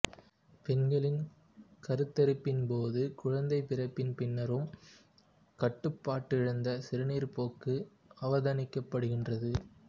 பெண்களில் கருத்தரிப்பின்போதும் குழந்தை பிறப்பின் பின்னரும் கட்டுப்பாடிழந்த சீறுநீர்ப்போக்கு அவதானிக்கப்படுகின்றது